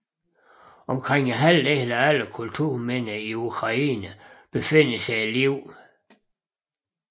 Omkring halvdelen af alle kulturminder i Ukraine befinder sig i Lviv